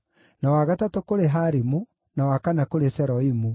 na wa gatatũ kũrĩ Harimu, na wa kana kũrĩ Seroimu,